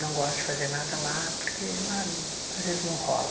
Não gosto de fazer nada lá, porque lá às vezes não rola.